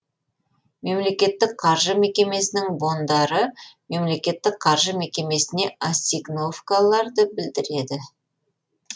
мемлекеттік қаржы мекемесінің бондары мемлекеттік қаржы мекемесіне ассигновкаларды білдіреді